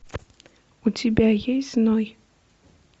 у тебя есть ной